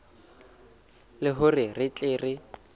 le hore re tle re